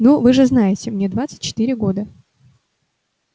ну вы же знаете мне двадцать четыре года